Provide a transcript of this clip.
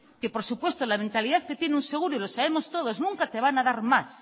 que por supuesto la mentalidad que tiene un seguro y lo sabemos todos nunca te van a dar más